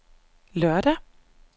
lørdag